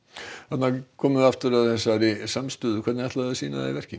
þarna komum við aftur að þessari samstöðu hvernig ætla þau að sýna hana í verki